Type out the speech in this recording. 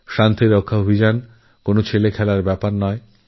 শান্তিসুরক্ষার অভিযানটি মোটেইসহজসাধ্য নয়